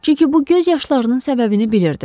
Çünki bu göz yaşlarının səbəbini bilirdi.